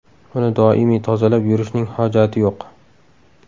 Uni doimiy tozalab yurishning hojati yo‘q.